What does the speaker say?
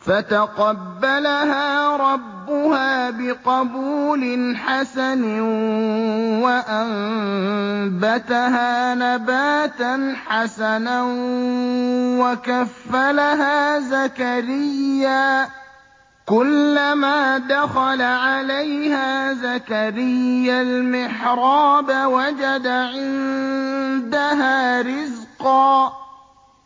فَتَقَبَّلَهَا رَبُّهَا بِقَبُولٍ حَسَنٍ وَأَنبَتَهَا نَبَاتًا حَسَنًا وَكَفَّلَهَا زَكَرِيَّا ۖ كُلَّمَا دَخَلَ عَلَيْهَا زَكَرِيَّا الْمِحْرَابَ وَجَدَ عِندَهَا رِزْقًا ۖ